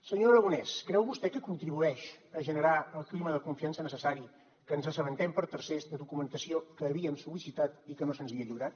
senyor aragonès creu vostè que contribueix a generar el clima de confiança necessari que ens assabentem per tercers de documentació que havíem sol·licitat i que no se’ns havia lliurat